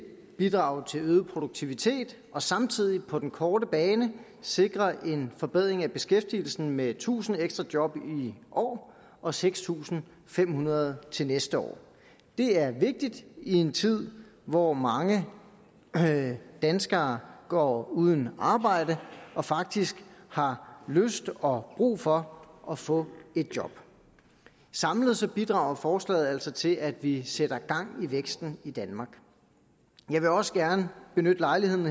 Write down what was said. bidrage til øget produktivitet og samtidig på den korte bane sikre en forbedring af beskæftigelsen med tusind ekstra job i år og seks tusind fem hundrede til næste år det er vigtigt i en tid hvor mange danskere går uden arbejde og faktisk har lyst og brug for at få et job samlet set bidrager forslaget altså til at vi sætter gang i væksten i danmark jeg vil også gerne benytte lejligheden